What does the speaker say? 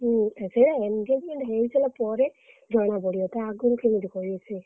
ହୁଁ ସେଇବା engagement ହେଇସାରିଲା ପରେ ଜଣାପଡିବ ତା ଆଗୁରୁ କେମିତି କହିବ ସିଏ।